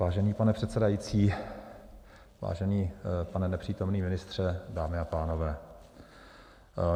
Vážený pane předsedající, vážený pane nepřítomný ministře, dámy a pánové.